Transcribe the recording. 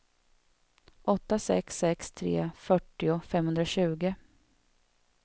åtta sex sex tre fyrtio femhundratjugo